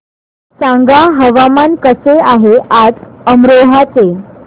सांगा हवामान कसे आहे आज अमरोहा चे